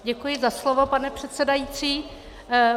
Děkuji za slovo, pane předsedající.